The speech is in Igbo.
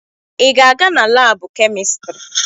Ị ga-aga na laabụ kemịstrị?